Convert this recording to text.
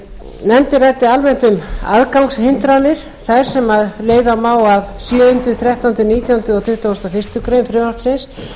nefndin ræddi almennt um aðgangshindranir þær sem leiða má af sjöunda þrettánda nítjándu og tuttugasta og fyrstu grein frumvarpsins